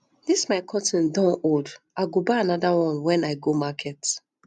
dis my curtain don old i go buy another one wen i go market